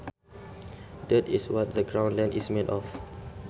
Dirt is what the ground land is made of